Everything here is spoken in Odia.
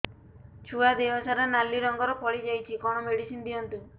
ଛୁଆ ଦେହ ସାରା ନାଲି ରଙ୍ଗର ଫଳି ଯାଇଛି କଣ ମେଡିସିନ ଦିଅନ୍ତୁ